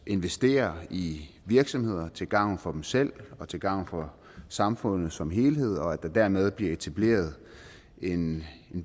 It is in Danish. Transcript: investerer i virksomheder til gavn for dem selv og til gavn for samfundet som helhed og at der dermed bliver etableret en